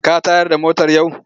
Ka tayar da motar yau?